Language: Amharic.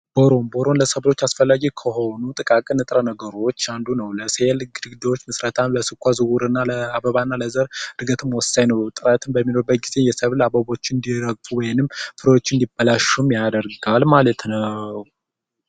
ቦሮ ለሰብሎች አስፈላጊ ከሆኑ ንጥረ ነገሮች አንዱ ነው ነገሮች እነዚህ ንጥረ ነገሮች ለስኳር ዝውውር እና ለአበባ እና ለዘር በእርግጥም ወሳኝ ነው እጥረት በሚኖርበት ጊዜ የሰብል አበቦች እንዲረግፉ ወይንም ፍሬዎች እንዲበላሹ ያደርጋል ማለት ነው።